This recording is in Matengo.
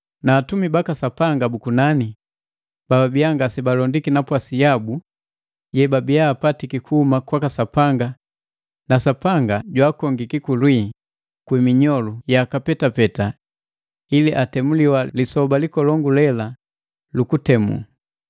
Na Atumi baka Sapanga bu kunani bababia ngase balondiki napwasi yabu yebabia apatiki kuhuma kwaka Sapanga na Sapanga jwaakongiki kulwii kwi minyolu yaka petapeta ili atemuliwa lisoba likolongu lela lu kutemu.